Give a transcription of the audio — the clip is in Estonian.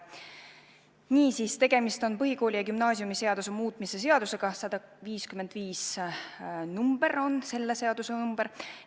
Niisiis, tegemist on põhikooli- ja gümnaasiumiseaduse muutmise seadusega, 155 on selle eelnõu number.